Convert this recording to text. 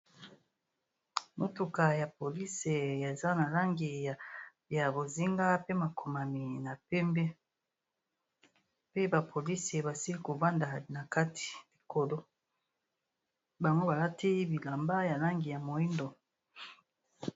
Motuka ya polisi eza na langi ya bozinga pe makomami na pembe pe ba polisi basili kovanda na kati likolo bango balati bilamba ya langi ya moyindo.